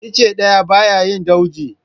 Icce ɗaya ba ya yi dauji.